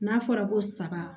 N'a fɔra ko saga